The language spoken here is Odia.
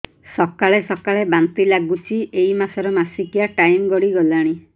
ସକାଳେ ସକାଳେ ବାନ୍ତି ଲାଗୁଚି ଏଇ ମାସ ର ମାସିକିଆ ଟାଇମ ଗଡ଼ି ଗଲାଣି